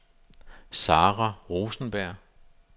Sara Rosenberg